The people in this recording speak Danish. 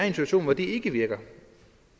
situation hvor det ikke virker